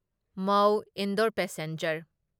ꯃꯧ ꯏꯟꯗꯣꯔ ꯄꯦꯁꯦꯟꯖꯔ